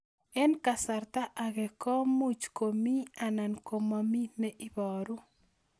Eng' kasarta ag'e ko much ko mii anan komamii ne ibaru